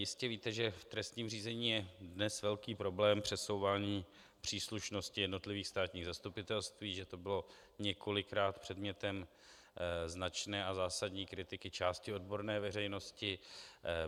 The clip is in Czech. Jistě víte, že v trestním řízení je dnes velký problém přesouvání příslušnosti jednotlivých státních zastupitelství, že to bylo několikrát předmětem značné a zásadní kritiky části odborné veřejnosti.